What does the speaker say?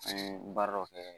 An ye baara dɔ kɛ